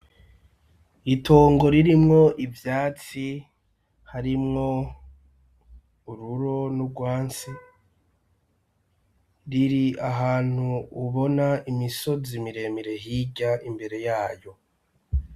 Itongo ririmwo ivyatsi harimwo ururo n'urwansi riri ahantu ubona imisozi miremire hirya imbere yayo.